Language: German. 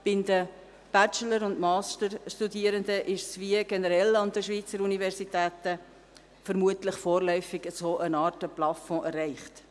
Bei den Bachelor- und Masterstudierenden ist, wie generell an den Schweizer Universitäten, vermutlich vorläufig eine Art Plafond erreicht.